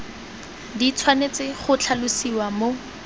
di tshwanetse go tlhalosiwa mo